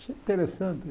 Isso é interessante